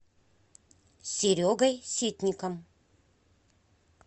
серегой ситником